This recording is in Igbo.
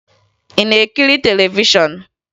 Ị na-ekiri televishọn?